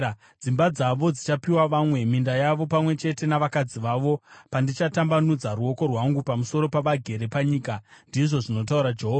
Dzimba dzavo dzichapiwa vamwe, minda yavo pamwe chete navakadzi vavo, pandichatambanudza ruoko rwangu pamusoro pavagere panyika,” ndizvo zvinotaura Jehovha.